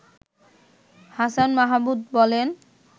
হাছান মাহমুদ বলেন